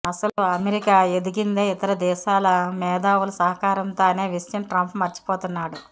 అసలు అమెరికా ఎదిగిందే ఇతర దేశాల మేధావుల సహకారంతో అనే విషయం ట్రంప్ మరిచిపోతున్నాడు